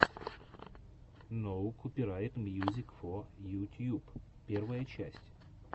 ноу копирайт мьюзик фо ю тьюб первая часть